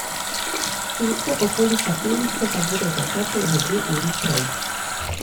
Ceste okoli kapelice pa bodo zaprte že dve uri prej.